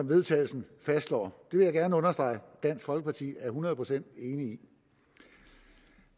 vedtagelse fastslår det vil jeg gerne understrege at dansk folkeparti er hundrede procent enige i